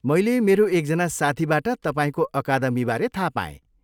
मैले मेरो एकजना साथीबाट तपाईँको अकादमीबारे थाहा पाएँ।